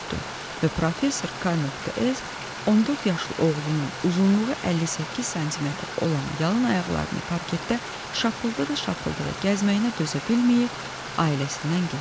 Və professor K.S. 14 yaşlı oğlunun uzunluğu 58 sm olan yalın ayaqlarını parketdə şapıltada-şapıltada gəzməyinə dözə bilməyib, ailəsindən getdi.